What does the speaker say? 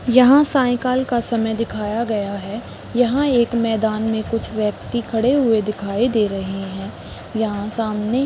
यहाँ साइकिल का समय दिखाया गया है यहाँ एक मैदान में कुछ व्यक्ति खड़े हुए दिखाई दे रहे है यहाँ सामने --